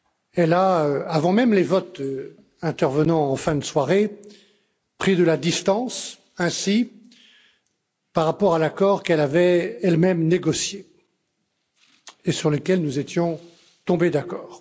Elle a, avant même les votes intervenant en fin de soirée, pris ainsi de la distance par rapport à l'accord qu'elle avait elle même négocié et sur lequel nous étions tombés d'accord.